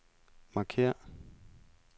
markér